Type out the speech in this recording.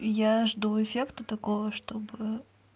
я жду эффекта такого чтобы